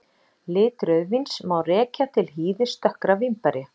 Lit rauðvíns má rekja til hýðis dökkra vínberja.